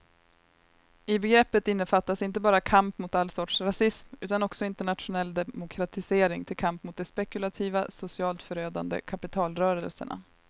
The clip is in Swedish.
I begreppet innefattas inte bara kamp mot all sorts rasism utan också internationell demokratisering till kamp mot de spekulativa, socialt förödande kapitalrörelserna.